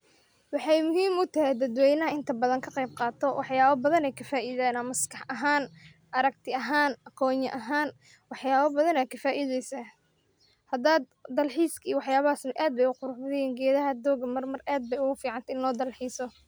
Waxy muhim ute dadwenaha inta badan kaqebqao, waxyaba badan ay kafidan maskax ahan aragti ahan, aqonita ahan, wax yaba badan ad kafaideysa ,hadad dal xis iyo wax yabahas ad bay u qurux badan yihin gedaha doga ad bay o gu ficant inlodalxiso.